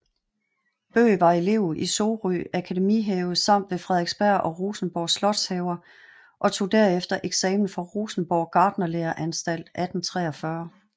Bøgh var elev i Sorø Akademihave samt ved Frederiksberg og Rosenborg slotshaver og tog derefter eksamen fra Rosenborg Gartnerlæreanstalt 1843